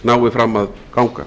nái fram að ganga